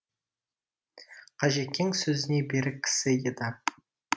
қажекең сөзіне берік кісі еді